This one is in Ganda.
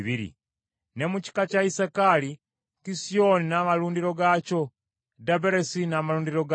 Ne mu kika kya Isakaali, Kisioni n’amalundiro gaakyo, Daberasi n’amalundiro gaakyo,